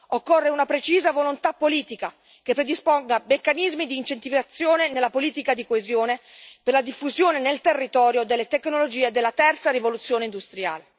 Occorre una precisa volontà politica, che predisponga meccanismi di incentivazione nella politica di coesione per la diffusione nel territorio delle tecnologie della terza rivoluzione industriale.